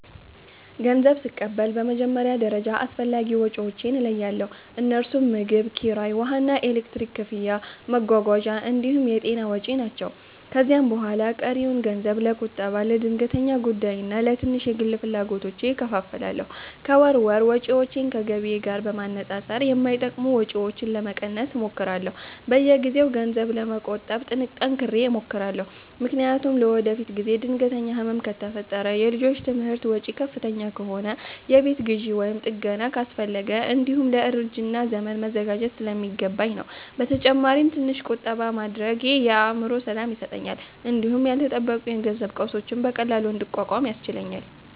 ገንዘብ ስቀበል በመጀመሪያ ደረጃ አስፈላጊ ወጪዎቼን እለያለሁ፤ እነርሱም ምግብ፣ ኪራይ፣ ውሃና ኤሌክትሪክ ክፍያ፣ መጓጓዣ እንዲሁም የጤና ወጪ ናቸው። ከዚያ በኋላ ቀሪውን ገንዘብ ለቁጠባ፣ ለድንገተኛ ጉዳይና ለትንሽ የግል ፍላጎቶች እከፋፍላለሁ። ከወር ወር ወጪዎቼን ከገቢዬ ጋር በማነጻጸር የማይጠቅሙ ወጪዎችን ለመቀነስ እሞክራለሁ። በየጊዜው ገንዘብ ለመቆጠብ ጠንክሬ እሞክራለሁ፤ ምክንያቱም ለወደፊት ጊዜ ድንገተኛ ህመም ከፈጠረ፣ የልጆች ትምህርት ወጪ ከፍተኛ ከሆነ፣ የቤት ግዢ ወይም ጥገና አስፈለገ፣ እንዲሁም ለእርጅና ዘመን መዘጋጀት ስለሚገባኝ ነው። በተጨማሪም ትንሽ ቁጠባ ማድረጌ የአእምሮ ሰላም ይሰጠኛል እንዲሁም ያልተጠበቁ የገንዘብ ቀውሶችን በቀላሉ እንድቋቋም ያስችለኛል